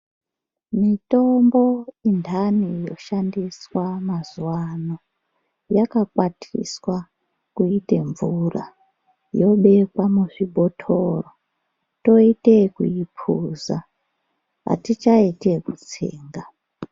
Mitombo intani yoshandiswa mazuva ano yakakwatiswa kuite mvura yobekwa muzvibhotoro, toite yekuphuza, atichaiti yekutsenga.